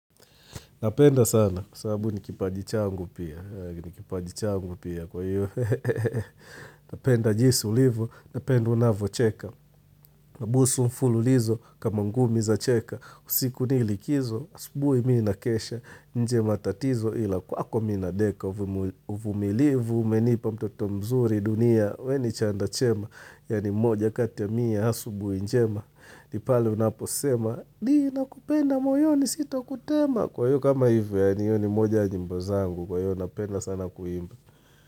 Napenda sana kwa sababu ni kipaji changu pia. Ni kipaji changu pia. Kwa hiyo. Napenda jinsi ulivyo, napenda unavyo cheka. Nabusu mfululizo kama ngumi za cheka. Usiku nilikizo, asubuhi minakesha. Nje matatizo ila kwako mi nadeka. Uvumilivu, umenipa mtoto mzuri dunia. We ni chanda chema. Yaani moja kati ya mia, asubuhi njema. Nipale unapo sema, ni nakupenda moyoni sito kutema. Kwa hiyo kama hivyo yaani hiyo ni moja ya nyimbo zangu. Kwa hiyo napenda sana kuimba.